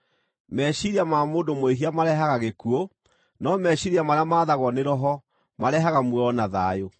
Meciiria ma mũndũ mwĩhia marehaga gĩkuũ, no meciiria marĩa maathagwo nĩ Roho marehaga muoyo na thayũ;